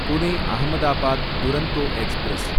Pune Ahmedabad Duronto express